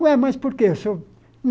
Ué, mas por que? Seu